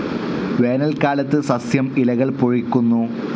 വേനൽക്കാലത്ത് സസ്യം ഇലകൾ പൊഴിക്കുന്നു.